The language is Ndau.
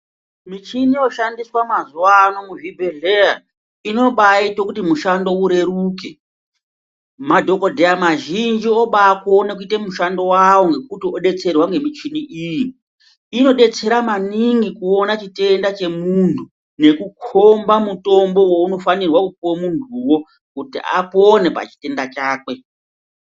Michini yoshandiswa mazuwa ano muzvibhedhleya inobaite kuti mushando ureruke mafhokodheya mazhinji obakone kuite mushando wawo ngekuti odetserwa ngemuchini iyi inodetsera maningi kuona chitenda chemuntu nekukomba mutombo wounofanirwa kupuwa muntuwo kuti apone pachitenda chakwe.